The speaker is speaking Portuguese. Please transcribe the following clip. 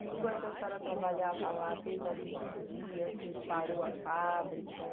Enquanto a senhora trabalhava lá, teve algum dia assim que parou a fábrica?